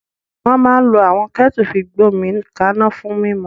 Wọ́n máa ń lo àwọn kẹ́ẹ́tẹu fi gbomi ka'na fún mímu.